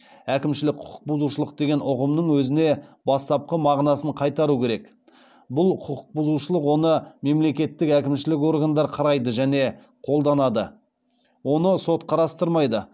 әкімшілік құқық бұзушылық деген ұғымның өзіне бастапқы мағынасын қайтару керек бұл құқық бұзушылық оны мемлекеттік әкімшілік органдар қарайды және қолданады оны сот қарастырмайды